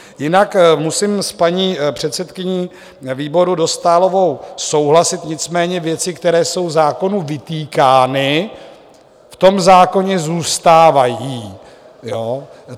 Jinak musím s paní předsedkyní výboru Dostálovou souhlasit, nicméně věci, které jsou zákonu vytýkány, v tom zákoně zůstávají.